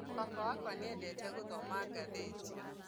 Baba wakwa nĩendete gũthoma gatheti